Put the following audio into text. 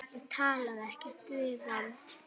Ég talaði ekkert við hann.